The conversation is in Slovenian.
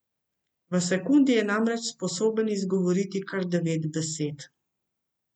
V sekundi je namreč sposoben izgovoriti kar devet besed.